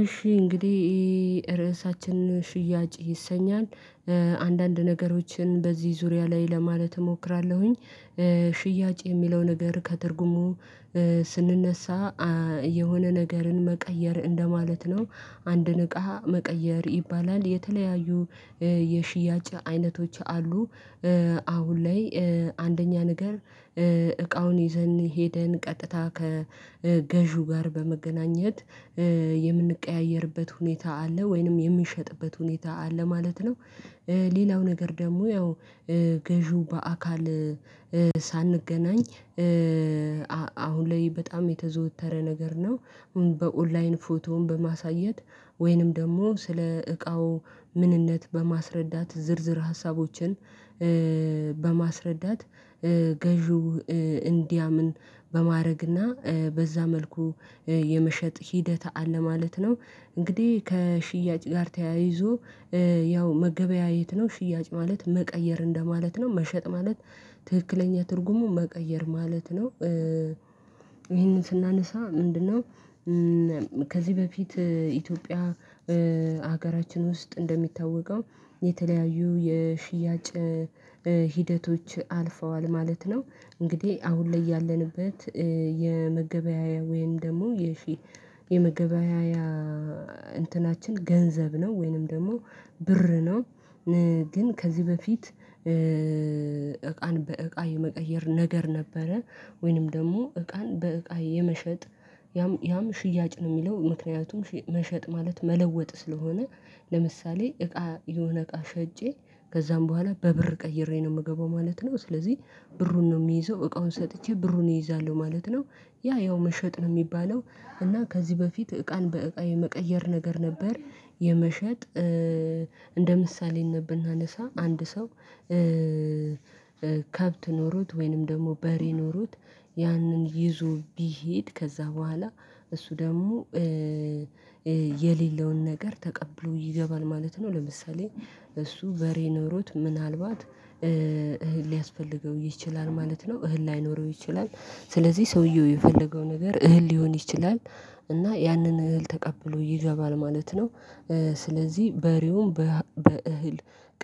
እሺ እንግዲህ ርዕሳችን ሽያጭ ይሰኛል። አንዳንድ ነገሮችን በዚህ ዙሪያ ላይ ለማለት እሞክራለሁኝ ሽያጭ የሚለው ነገር ከትርጉሙ ስንነሳ የሆነ ነገርን መቀየር እንደማለት ነው። አንድን እቃ መቀየር ይባላል የተለያዩ የሽያጭ አይነቶች አሉ አሁን ላይ አንደኛ ነገር እቃውን ይዘን ሄደን ቀጥታ ከገዢው ጋር በመገናኘት የምንቀያየርበት ሁኔታ አለ፤ ወይንም የሚሸጥበት ሁኔታ አለ ማለት ነው። ሌላው ነገር ደግሞ ያው ገዢው በአካል ሳንገናኝ አሁን ላይ በጣም የተዘወተረ ነገር ነው። አሁን በኦንላይን ፎቶ በማሳየት ወይንም ደሞ ስለ እቃው ምንነት በማስረዳት ዝርዝር ሀሳቦችን በማስረዳት፤ ገዢው እንዲያምን በማድረግና በዛ መልኩ የመሸጥ ሂደት አለ ማለት ነው። እንግዲህ ከሽያጭ ጋር ተያይዞ ያው መገበያየት ነው። ሽያጭ ማለት መቀየር እንደማለት ነው መሸጥ ማለት ትክክለኛ ትርጉሙ መቀየር ማለት ነው። ይህን ስናነሳ ምንድነው ከዚህ በፊት ኢትዮጵያ ሀገራችን ውስጥ እንደሚታወቀው የተለያዩ የሽያጭ ሂደቶች አልፈዋል ማለት ነው። እንግዲህ አሁን ላይ ያለንበት የመገበያያ ወይም ደግሞ የሺ የመገበያያ እንትናችን ገንዘብ ነው፤ ወይንም ደግሞ ብር ነው። ግን ከዚህ በፊት እቃን በእቃ የመቀየር ነገር ነበረ፤ ወይንም ደግሞ እቃን በእቃ የመሸጥ ያም ያም ሽያጭ ነው የሚለው። ምክንያቱም መሸጥ ማለት መለወጥ ስለሆነ ለምሳሌ እቃ የሆነ እቃ ሸጬ ከዛም በኋላ በብር ቀይሬ ነው የምገባው ማለት ነው። ስለዚህ ብሩን ነው የሚይዘው፤ እቃውን ሰጥቼ ብሩን እይዛለሁ ማለት ነው። ያ ያው መሸጥ ነው የሚባለው። እና ከዚህ በፊት እቃን በእቃ የመቀየር ነገር ነበር። የመሸጥ እንደ ምሳሌነት ብናነሳ አንድ ሰው ከብት ኖሮት ወይንም ደግሞ በሬ ኖሮት ያንን ይዞ ቢሄድ ከዛ በኋላ እሱ ደግሞ የሌለውን ነገር ተቀብሎ ይገባል ማለት ነው። ለምሳሌ- እሱ በሬ ኖሮት ምናልባት እህል ሊያስፈልገው ይችላል ማለት ነው፤ እህል ላይኖረው ይችላል ስለዚህ ሰውየው የፈለገው ነገር እህል ሊሆን ይችላል እና ያንን እህል ተቀብሎ ይገባል ማለት ነው። ስለዚህ በሬውን በእህል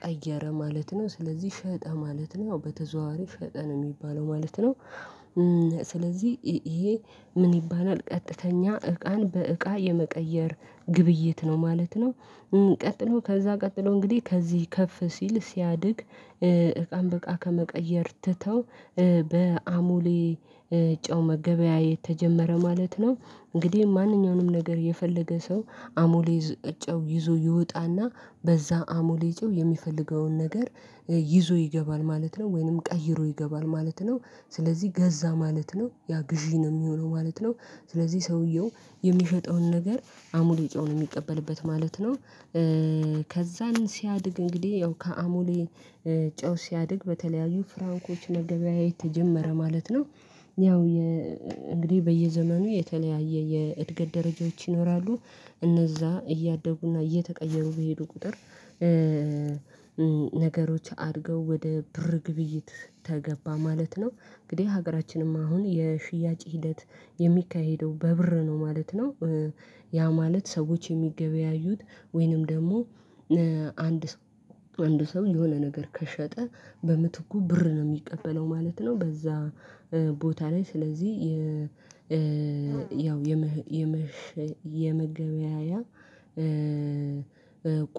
ቀየረ ማለት ነው። ስለዚህ ሸጠ ማለት ነው። በተዘዋዋሪ ሸጠ ነው የሚባለው ማለት ነው። ስለዚህ ይሄ ምን ይባላል ቀጥተኛ እቃን በእቃ የመቀየር ግብይት ነው ማለት ነው። ቀጥሎ ከዛ ቀጥሎ እንግዲህ ከዚህ ከፍ ሲል ሲያድግ እቃን በቃ ከመቀየር ትተው በአሞሌ ጨው መገበያየት ተጀመረ ማለት ነው። እንግዲህ ማንኛውንም ነገር የፈለገ ሰው አሞሌ ጨው ይዞ ይወጣና በዛ አሞሌ ጨው የሚፈልገውን ነገር ይዞ ይገባል ማለት ነው፤ ወይንም ቀይሮ ይገባል ማለት ነው። ስለዚህ ገዛ ማለት ነው፤ ያ ግዢ ነው የሚሆነው ማለት ነው። ስለዚህ ሰውየው የሚሸጠውን ነገር አሙሌ ጨው ነው የሚቀበልበት ማለት ነው። ከዛን ሲያድግ እንግዲህ ያው ከአሞሌ ጨው ሲያድግ በተለያዩ ፍራንኮች መገበያየት ተጀመረ ማለት ነው። ያው እንግዲህ በየዘመኑ የተለያየ የእድገት ደረጃዎች ይኖራሉ፤ እነዛ እያደጉና እየተቀየሩ በሄዱ ቁጥር ነገሮች አድገው ወደ ብር ግብይት ተገባ ማለት ነው። እንግዲህ ሀገራችንም አሁን የሽያጭ ሂደት የሚካሄደው በብር ነው ማለት ነው። ያ ማለት ሰዎች የሚገበያዩት ወይንም ደግሞ አንድ ሰው አንድ ሰው የሆነ ነገር ከሸጠ በምትኩ ብር ነው የሚቀበለው ማለት ነው፤ በዛ ቦታ ላይ ስለዚህ ያው የመገበያያ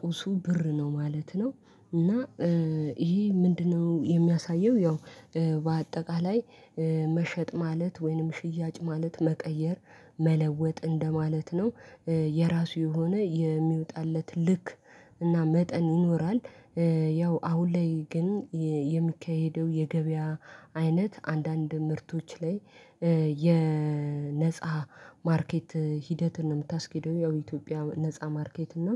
ቁሱ ብር ነው ማለት ነው። እና ይሄ ምንድነው የሚያሳየው ያው በአጠቃላይ መሸጥ ማለት ወይንም ሽያጭ ማለት መቀየር፤ መለወጥ እንደማለት ነው። የራሱ የሆነ የሚወጣለት ልክ እና መጠን ይኖራል ያው አሁን ላይ ግን የሚካሄደው የገበያ አይነት አንዳንድ ምርቶች ላይ የነፃ ማርኬት ሂደትን ነው የምታስኬደው፤ ያው ኢትዮጵያ ነፃ ማርኬት ነው።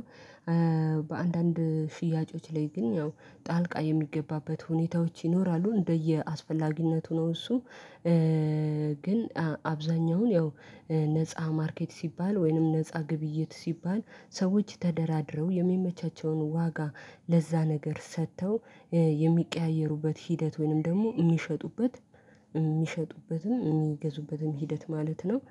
በአንዳንድ ሽያጮች ላይ ግን ያው ጣልቃ የሚገባበት ሁኔታዎች ይኖራሉ እንደየአስፈላጊነቱ ነው እሱ ግን አብዛኛውን ያው ነፃ ማርኬት ሲባል ወይንም ነፃ ግብይት ሲባል ሰዎች ተደራድረው የሚመቻቸውን ዋጋ ለዛ ነገር ሰተው የሚቀያየሩበት ሂደት ወይንም ደግሞ የሚሸጡበት የሚሸጡበትም የሚገዙበትም ሂደት ማለት ነው።